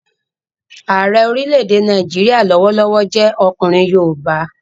Ààrẹ orílẹ̀-èdè Nàìjíríyà lọ́wọ́lọ́wọ́ jẹ́ ọkùnrin yoòbá